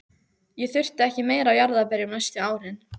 Ég þurfti ekki meira af jarðarberjum næstu árin.